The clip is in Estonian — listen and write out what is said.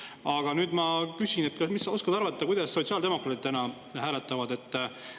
Aga nüüd ma küsin: mis sa oskad arvata, kuidas sotsiaaldemokraadid täna hääletavad?